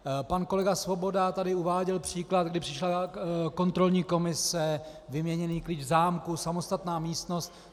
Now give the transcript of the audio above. Pan kolega Svoboda tady uváděl příklad, kdy přišla kontrolní komise - vyměněný klíč v zámku, samostatná místnost.